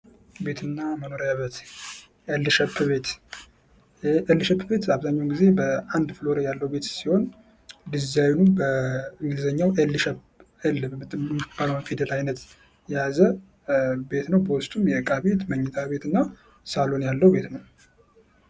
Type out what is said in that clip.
ቢትና መኖሪያ ቤት ኤል ሸፕ ቤት ኤል ሸፕ ቤት አብዛኛውን ጊዜ አንድ ፍሎር ያለው ቤት ሲሆን ድዛይኑ በእንግሊዝኛዉ ኤል የምትባለዋን ፊዴል አይነት የያዘ ቤት ነው በውስጡ የእቃ ቤት መኝታ ቤትና ሳሎን ያለው ቤት ነው።